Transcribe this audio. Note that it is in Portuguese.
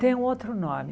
Tem um outro nome.